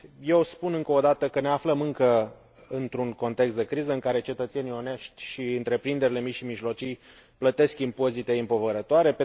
Eu spun încă o dată că ne aflăm încă într un context de criză, în care cetățenii onești și întreprinderile mici și mijlocii plătesc impozite împovărătoare.